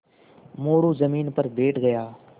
मोरू ज़मीन पर बैठ गया